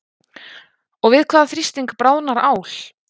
Og við hvaða þrýsting bráðnar ál?